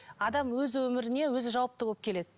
адам өз өміріне өзі жауапты болып келеді